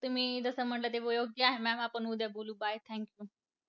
तुम्ही जसं म्हणलं ते योग्य आहे ma'am आपण उद्या बोलू bye thank you.